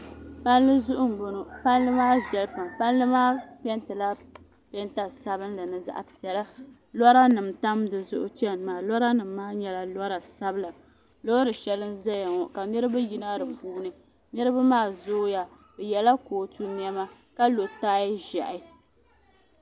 Palli zuɣu m boŋɔ palli maa viɛla pam palli maa pentila penta sabinli ni zaɣ'piɛla lora nima tam dizuɣu chena maa lora nima maa nyɛla lora sabla loori sheli n zaya ŋɔ ka niriba yina dipuuni niriba maa zooya bɛ yela kootu niɛma ka lo taaya ʒehi.